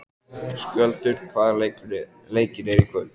Skjöldur, hvaða leikir eru í kvöld?